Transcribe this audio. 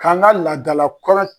K'an ka laadala kɔlɔn